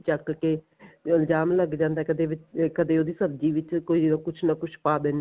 ਚੱਕ ਕੇ ਇਲਜਾਮ ਲੱਗ ਜਾਂਦਾ ਕਦੇ ਉਹਦੀ ਸਬਜੀ ਵਿੱਚ ਕੁੱਝ ਨਾ ਕੁੱਝ ਪਾ ਦਿਨੇ